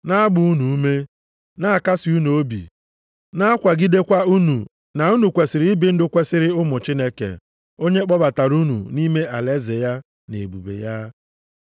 na-agba unu ume, na-akasị unu obi, na-akwagidekwa unu na unu kwesiri ibi ndụ kwesiri ụmụ Chineke, onye kpọbatara unu nʼime alaeze ya na ebube ya.